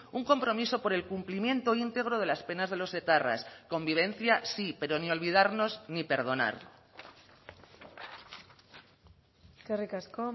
un compromiso por el cumplimiento íntegro de las penas de los etarras convivencia sí pero ni olvidarnos ni perdonar eskerrik asko